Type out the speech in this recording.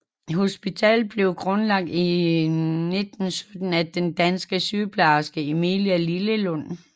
Hospitalet blev grundlagt i 1917 af den danske sygeplejerske Emilie Lillelund